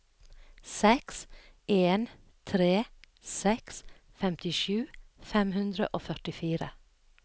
seks en tre seks femtisju fem hundre og førtifire